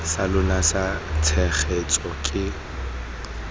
sa lona sa tshegetso ke